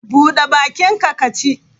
Bude bakinka ka ci!